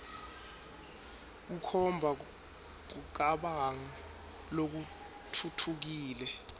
kukhomba kucabanga lokutfutfukile